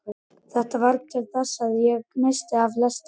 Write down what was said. Þetta varð til þess að ég missti af lestinni.